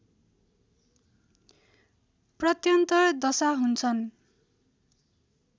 प्रत्यन्तर दशा हुन्छन्